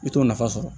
I t'o nafa sɔrɔ